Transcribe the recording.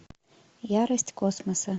ярость космоса